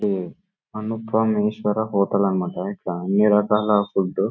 ఇది హోటల్ అన్నమాట. ఇక్కడ అన్ని రకాల ఫుడ్ --